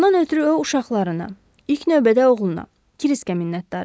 Bundan ötrü o uşaqlarına, ilk növbədə oğluna, Kriskə minnətdar idi.